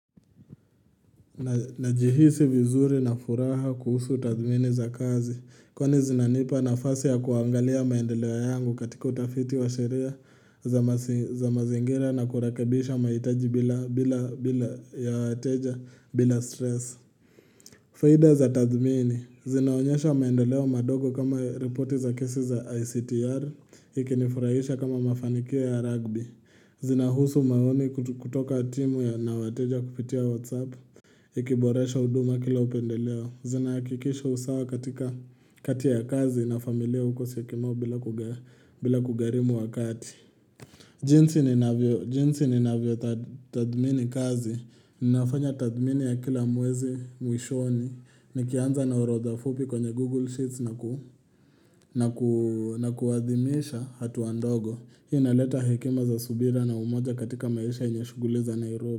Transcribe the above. Najihisi vizuri na furaha kuhusu tathmini za kazi, kwa ni zinanipa nafasi ya kuangalia maendeleo yangu katika utafiti wa sheria za mazingira na kurakebisha maitaji bila ya wateja bila stress. Faida za tathmini, zinaonyesha maendelewa madogo kama reporti za kisi za ICTR, ikinifurahisha kama mafanikio ya rugby, zina husu maoni kutoka timu ya na wateja kupitia whatsapp. Ikiboresho huduma kila upendeleo zina hakikisha usawa katika kati ya kazi na familia uko syokimau bila kugarimu wakati jinsi ni navyo tathmini kazi Ninafanya tathmini ya kila mwezi mwishoni Nikianza na horodha fupi kwenye Google Sheets na kuadhimisha hatua ndogo Hii inaleta hekima za subira na umoja katika maisha yenye shuguli za Nairobi.